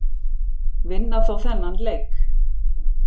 Vinna þó þennan leik.